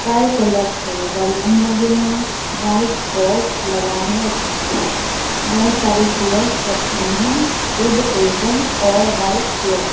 try colour के balloon लगे हैं व्हाईट पॉट लगा है बहोत सारी चेयर्स रखी है विथ टेबल और व्हाईट चेयर --